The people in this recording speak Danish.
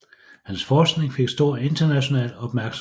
Hans forskning fik stor international opmærksomhed